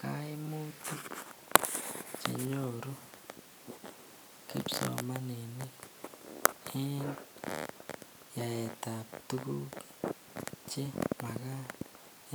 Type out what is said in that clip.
Kaimutik chenyoru kipsomaninik en yaetab tukuk chemakat